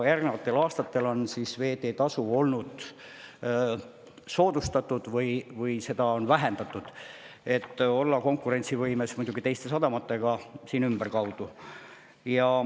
Järgnenud aastatel on veeteetasu olnud soodsam, seda on vähendatud, et oldaks võimeline konkureerima teiste sadamatega siin ümberkaudu.